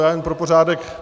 Já jen pro pořádek.